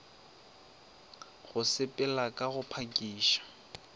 go sepela ka go phakiša